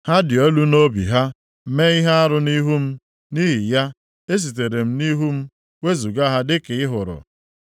Ha dị elu nʼobi ha, mee ihe arụ nʼihu m. Nʼihi ya, esitere m nʼihu m wezuga ha dịka ị hụrụ.